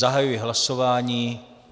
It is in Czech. Zahajuji hlasování.